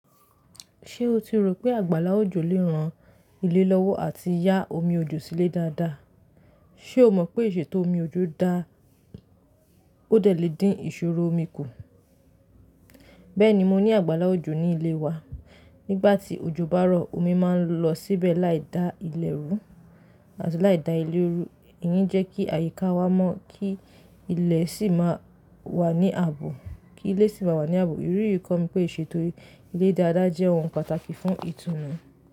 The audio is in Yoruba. Ṣé o ti rò pé àgbára òjò lè ran ilé lọ́wọ́ àti ya omi òjò sílẹ̀ dáadáa? Ṣe o mọ̀ pé ìṣètò omi òjò dáa, ó dè le dín ìṣòro omi kù. Bẹ́ẹ̀ni mo ní àgbála òjò ní ilé wa. Nígbà tí ojo bá rọ̀, omi máa ń lọ síbẹ̀ láì dá ilé rú àti láì dá ilé rú. Iyen jẹ́ kí àyíká wa mọ́ kí ilé sì máa wà ní ààbò kí ilé sì máa wà ní ààbò. Irú ìkànnì pé ìṣètò ilé dáadáa jẹ́ ohun pàtàkì fún ìtùnú.